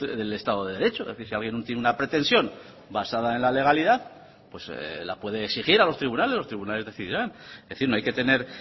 del estado de derecho es decir si alguien tiene una pretensión basada en la legalidad pues la puede exigir a los tribunales los tribunales decidirán es decir no hay que tener